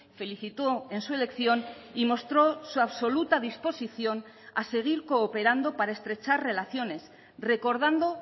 felicitó en su elección y mostró su absoluta disposición a seguir cooperando para estrechar relaciones recordando